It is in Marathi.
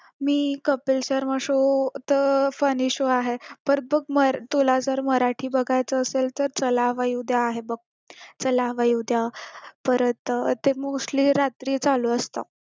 मी कपिल शर्मा शो तर funny show आहे पर बघ तुला तर मराठी बघायचं असेल तर चला हवा येऊ द्या आहे बघ चला हवा येऊ द्या परत ते mostly रात्री चालू असतं